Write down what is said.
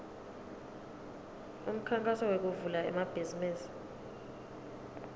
umkhankaso wekuvula emabhizimisi